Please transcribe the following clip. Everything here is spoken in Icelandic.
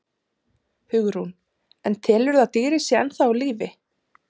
Hugrún: En telurðu að dýrið sé ennþá á lífi?